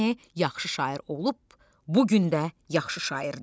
Yəni yaxşı şair olub, bu gün də yaxşı şairdir.